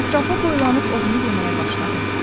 Ətrafa boylanıb ovunu yeməyə başladı.